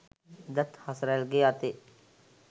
එදාත් හසරැල්ගෙ අතේ